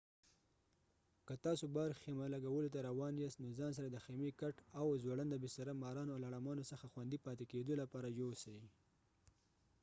که تاسو باهر خيمه لګولو ته راوان ياست نو ځان سره د خيمي کاټ او ځوړنده بستره مارانو او لړامانو څخه خوندي پاتي کيدو لپاره يوسئ